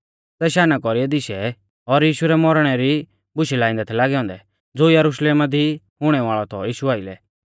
सै शाना कौरीऐ दिशै और यीशु रै मौरणै री बुशै लाइंदै थै लागै औन्दै ज़ो यरुशलेम दी हुणै वाल़ौ थौ यीशु आइलै